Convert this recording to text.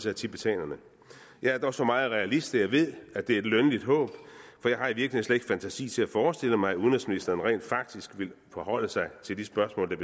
af tibetanerne jeg er dog så meget realist at jeg ved at det er et lønligt håb for jeg har i virkeligheden ikke fantasi til at forestille mig at udenrigsministeren rent faktisk vil forholde sig til de spørgsmål der